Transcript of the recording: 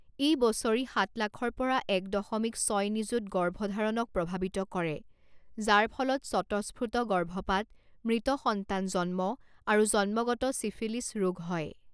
ই বছৰি সাত লাখৰ পৰা এক দশমিক ছয় নিযুত গৰ্ভধাৰণক প্ৰভাৱিত কৰে যাৰ ফলত স্বতঃস্ফূৰ্ত গৰ্ভপাত, মৃত সন্তান জন্ম আৰু জন্মগত চিফিলিছ ৰোগ হয়।